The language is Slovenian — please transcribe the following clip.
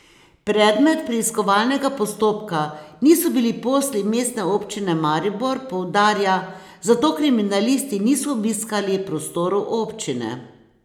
Predmet preiskovalnega postopka niso bili posli Mestne občine Maribor, poudarja, zato kriminalisti niso obiskali prostorov občine.